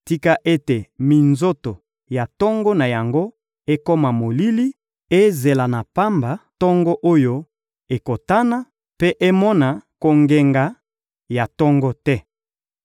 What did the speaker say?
Tika ete minzoto ya tongo na yango ekoma molili, ezela na pamba tongo oyo ekotana mpe emona kongenga ya tongo te.